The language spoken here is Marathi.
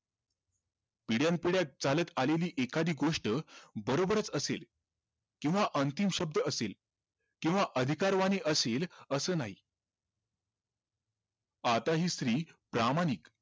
पिढ्यांपिढ्या चालत आलेली एखादी गोष्ट बरोबरच असेल किव्हा अंतिम शब्द असेल किव्हा अधिकार असेल असं नाही आता हि स्त्री प्रामाणिक